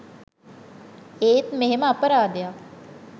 ඒත් මෙහෙම අපරාධයක්